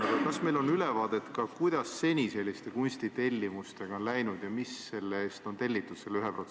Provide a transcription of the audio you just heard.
Aga kas meil on ülevaade sellest, kuidas seni selliste kunstitellimustega on läinud ja mida selle 1% eest on tellitud?